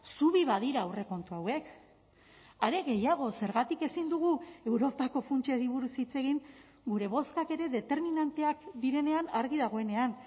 zubi badira aurrekontu hauek are gehiago zergatik ezin dugu europako funtsari buruz hitz egin gure bozkak ere determinanteak direnean argi dagoenean